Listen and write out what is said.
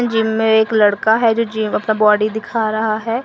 Gym में एक लड़का है जो जिम में अपना बॉडी दिख रहा है।